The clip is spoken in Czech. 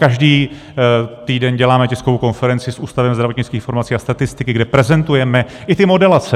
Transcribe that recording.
Každý týden děláme tiskovou konferenci s Ústavem zdravotnických informací a statistiky, kde prezentujeme i ty modelace.